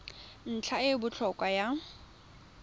ntlha e e botlhokwa ya